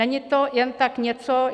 Není to jen tak něco.